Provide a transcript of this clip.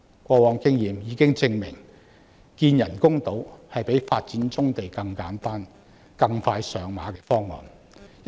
過往經驗已經證明，與發展棕地相比，興建人工島更簡單，而且更快能落實。